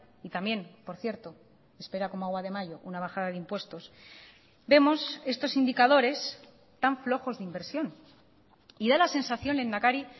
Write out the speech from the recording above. y también por cierto espera como agua de mayo una bajada de impuestos vemos estos indicadores tan flojos de inversión y da la sensación lehendakari